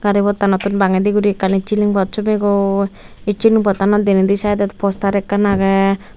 gari pottanotun bangedi guri ekkan id siling pot sommegoi id siling pottanot denedi saidot poster ekkan agey.